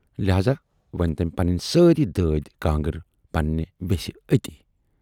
لہذا ؤنۍ تمٔۍ پنٕنۍ سٲری دٲدۍ کانگر پننہِ وٮ۪سہِ 'اَتی'۔